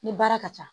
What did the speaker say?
Ni baara ka ca